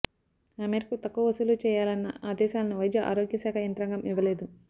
ఆ మేరకు తక్కువ వసూలు చేయాలన్న ఆదేశాలనూ వైద్య ఆరోగ్యశాఖ యంత్రాంగం ఇవ్వలేదు